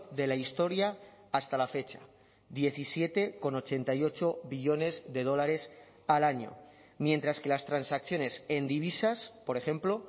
de la historia hasta la fecha diecisiete coma ochenta y ocho billones de dólares al año mientras que las transacciones en divisas por ejemplo